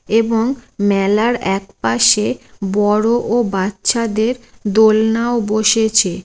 এবং মেলার একপাশে বড় ও বাচ্চাদের দোলনাও বসেছে।